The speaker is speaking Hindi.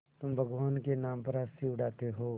तुम भगवान के नाम पर हँसी उड़ाते हो